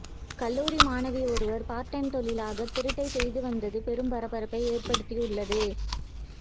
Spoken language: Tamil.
கல்லூரி மாணவி ஒருவர் பார்ட் டைம்தொழிலாக திருட்டை செய்து வந்தது பெரும் பரபரப்பை ஏற்படுத்தி உள்ளது